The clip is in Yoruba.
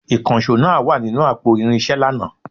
Ìkànsó náà wa ninu àpò irinsé lànà